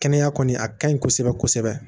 Kɛnɛya kɔni a ka ɲi kosɛbɛ kosɛbɛ